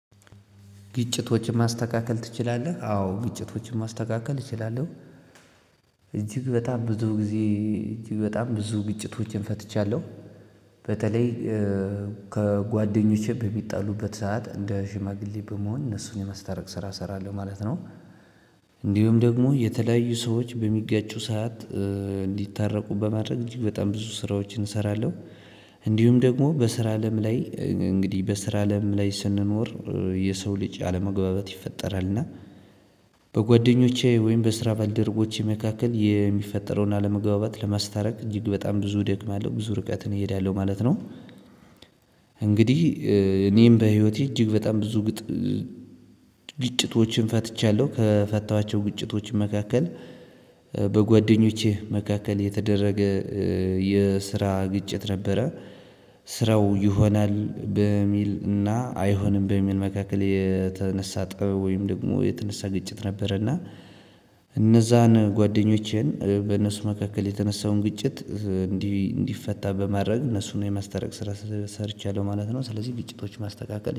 ግጭቶችን ማስተካከል ትችላለህ አዎ ግጭቶችን ማስተካከል እችላለሁ እጅግ በጣም ብዙ ጊዜ እጅግ በጣም ብዙ ግጭቶችን ፈትቻለሁ በተለይ ከጓደኞቼ በሚጣሉበት ሰዓት እንደ ሽማግሌ በመሆን እነሱን የማስታረቅ ስራ እሰራለሁ ማለት ነው። እንዲሁም ደግሞ የተለያዩ ሰዎች በሚጋጩ ሰዓት እንዲታረቁ በማድረግ እጅግ በጣም ብዙ ስራዎችን እሰራለሁ። እንዲሁም ደግሞ በስራ አለም ላይ እንግዲህ በስራ አለም ላይ ስንኖር የሰው ልጅ አለመግባባት ይፈጠራል እና። በጓደኞቼ ወይም በስራ ባልደረቦቼ መካከል የሚፈጠረውን አለመግባባት ለማስታረቅ እጅግ በጣም ብዙ እደክማለሁ ብዙ ርቀትን እሄዳለሁ ማለት ነው። እንግዲህ እኔም በህይወቴ እጅግ በጣም ብዙ ግጭቶችን ፈትቻለሁ ከፈታኋቸው ግጭቶች መካከል በጓደኞቼ መካከል የተደረገ የስራ ግጭት ነበረ። ስራው ይሆናል በሚል እና አይሆንም በሚል መካከል የተነሳ ጠብ ወይም ደግሞ የተነሳ ግጭት ነበረና እነዛን ጓደኞቼን በነሱ መካከል የተነሳውን ግጭት እንዲህ እንዲፈታ በማድረግ እነሱን የማስታረቅ ስራ ሰርቻለሁ ማለት ነው። ስለዚህ ግጭቶች ማስተካከል